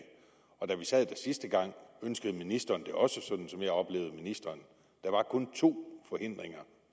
og da vi sad der sidste gang ønskede ministeren det også sådan som jeg oplevede ministeren der var kun to forhindringer